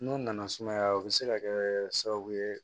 N'o nana sumaya o bɛ se ka kɛ sababu ye